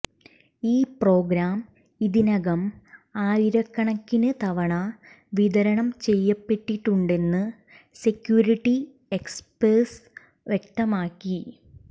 ഈ പ്രോഗ്രാം ഇതിനകം ആയിരക്കണക്കിന് തവണ വിതരണം ചെയ്യപ്പെട്ടിട്ടുണ്ടെന്ന് സെക്യൂരിറ്റി എക്സ്പേർട്സ് വ്യക്തമാക്കി